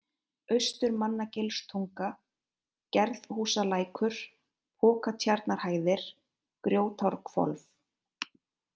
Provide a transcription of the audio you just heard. Austurmannagilstunga, Gerðhúsalækur, Pokatjarnarhæðir, Grjótárhvolf